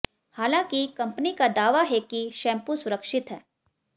हालांकि कंपनी का दावा है कि शैम्पू सुरक्षित है